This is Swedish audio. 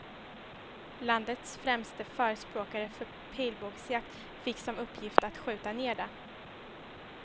Landets främste förespråkare för pilbågsjakt fick som uppgift att skjuta ner det.